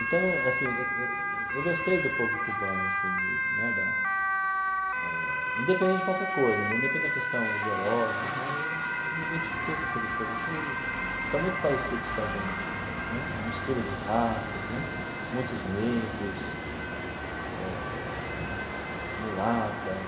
Então, assim eu eu eu gostei do povo cubano assim de né da, eh independente de qualquer coisa, independente da questão ideológica tal, eu eu me identifiquei com aquele povo achei, são muito parecidos com a gente né, uma mistura de raças né, muitos negros, eh mulatas.